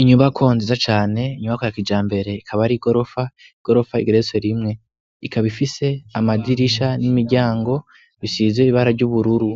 inyubako nziza cane inyubako ya kijambere ikaba ari igorofa igorofa igeretse rimwe ikaba ifise amadirisha n'imiryango bisize ibara ry'ubururu